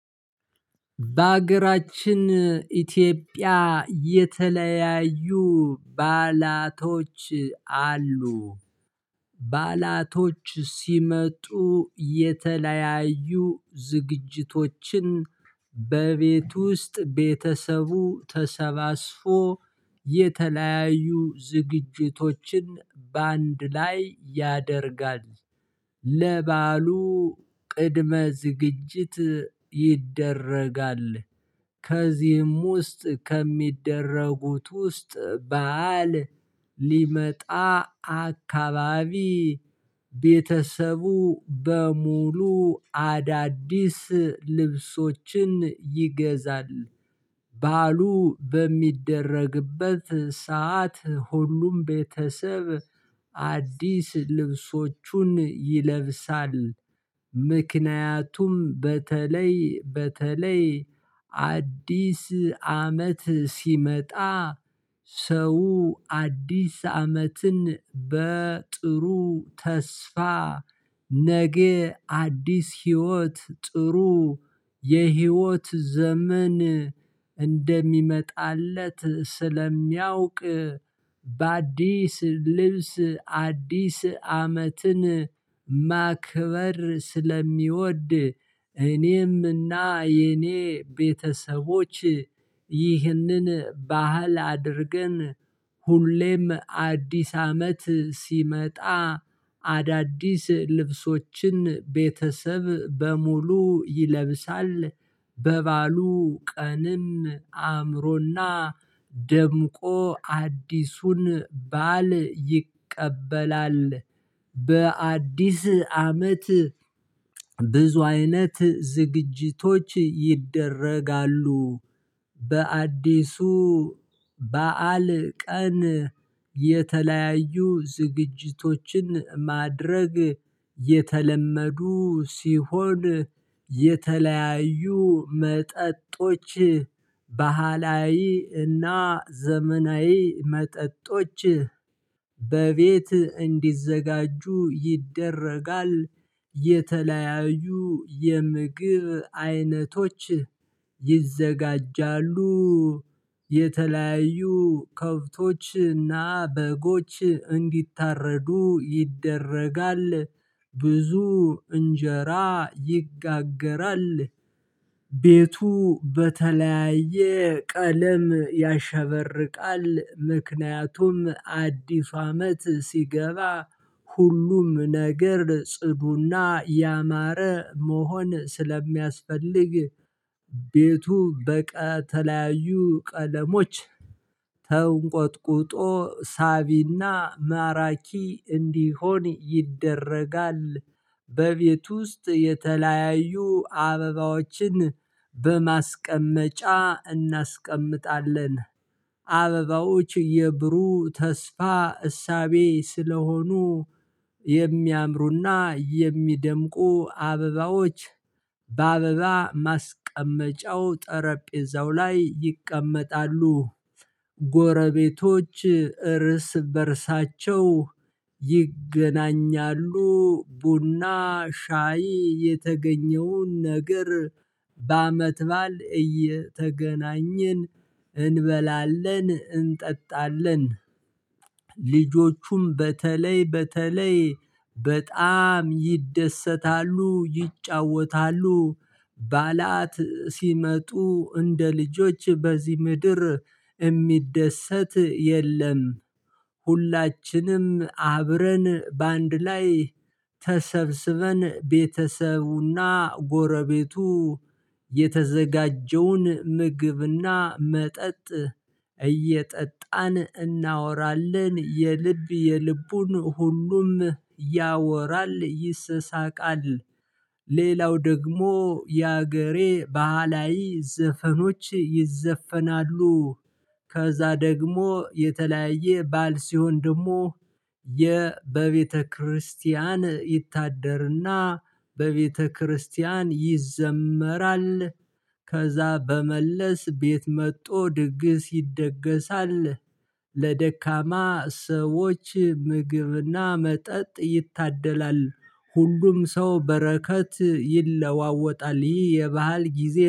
በሀገራችን ኢትዮጵያ የተለያዩ በዓላቶች አሉ፤ ባላቶች ሲመጡ የተለያዩ ዝግጅቶችን በቤት ውስጥ ቤተሰቡ ተሰባስፎ የተለያዩ ዝግጅቶችን በአንድ ላይ ያደርጋል፤ ለባሉ ቅድመ ዝግጅት ይደረጋል። ከዚህም ውስጥ ከሚደረጉት ውስጥ በዓል አካባቢ ቤተሰቡ በሙሉ አዳዲስ ልብሶችን ይገዛል። በዓሉ በሚደረግበት ሰዓት ሁሉም ቤተሰብ አዲስ ልብሶቹን ይለብሳል፤ ምክንያቱም በተለይ በተለይ አዲስ አመት ሲመጣ ሰው አዲስ አመትን በጥሩ ተስፋ ነገ አዲስ ህይወት ጥሩ የህይወት ዘመን እንደሚመጣለት ስለሚያውቅ በአዲስ ልብስ አዲስ አመትን ማክበር ስለሚወድ። እኔም እና የኔ ቤተሰቦች ይህንን ባህል አድርገን ሁሌም አዲስ አመት ሲመጣ አዳዲስ ልብሶችን ቤተሰብ በሙሉ ይለብሳል፤ በባሉ ቀንም አእምሮና ደምቆ አዲሱን በዓል ይቀበላል። በአዲስ አመት ብዙ አይነት ዝግጅቶች ይደረጋሉ። በአዲሱ በዓል ቀን የተለያዩ ዝግጅቶችን ማድረግ የተለመዱ ሲሆን የተለያዩ መጠጦች ባህላዊ እና ዘመናዊ መጠጦች በቤት እንዲዘጋጁ ይደረጋል። የተለያዩ የምግብ አይነቶች ይዘጋጃሉ። የተለያዩ ከብቶችና በጎች እንዲታረዱ ይደረጋል፤ ብዙ እንጀራ ይጋገራል። ቤቱ በተለያየ ቀለም ያሸበርቃል፤ ምክንያቱም አዲስ አመት ሲገባ ሁሉም ነገር ጽዱና ያማረ መሆን ስለሚያስፈልግ። ቤቱ በተለያዩ ቀለሞች ተውንቆጥቁጦ ሳቢና ማራኪ እንዲሆን ይደረጋል። በቤት ውስጥ የተለያዩ አበባዎችን በማስቀመጫ እናስቀምጣለን፤ አበባዎች የብሩህ ተስፋ እሳቤ ስለሆኑ። የሚያምሩና የሚደምቁ አበባዎች በአበባ ማስቀመጫው ጠረጴዛው ላይ ይቀመጣሉ፤ ጎረቤቶች እርስ በእርሳቸው ይገናኛሉ ቡና ሻይ የተገኘውን ነገር በአመት በዓል እየተገናኘን እንበላለን እንጠጣለን፤ ልጆቹም በተለይ በተለይ በጣም ይደሰታሉ ይጫወታሉ። በዓላት ሲመጡ እንደ ልጆች በዚህ ምድር የሚደሰት የለም፤ ሁላችንም አብረን በአንድ ላይ ተሰብስበን ቤተሰቡና ጎረቤቱ የተዘጋጀውን ምግብና መጠጥ እየጠጣን እናወራለን የልብ የልቡን ሁሉም ያወራል ይስሳቃል። ሌላው ደግሞ የሀገሬ ባህላዊ ዘፈኖች ይዘፈናሉ። ከዛ ደግሞ የተለያየ በዓል ሲሆን ደግሞ የ በቤተክርስቲያን ይታደርና በቤተክርስቲያን ይዘመራል። ከዛ በመለስ ቤት መጥቶ ድግስ ይደገሳል። ለደካማ ሰዎች ምግብና መጠጥ ይታደላል፤ ሁሉም ሰው በረከት ይለዋወጣል ይህ የባህል ጊዜ